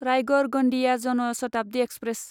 Raigad Gondia Jan Shatabdi express